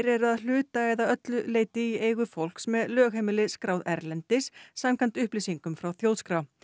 eru að hluta eða öllu leyti í eigu fólks með lögheimili skráð erlendis samkvæmt upplýsingum frá Þjóðskrá